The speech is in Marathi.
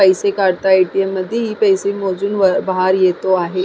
पैसे काढता ए.टी.एम. मधी पैसे मोजून बाहेर येतो आहे.